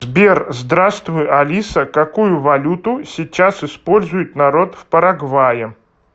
сбер здравствуй алиса какую валюту сейчас использует народ в парагвае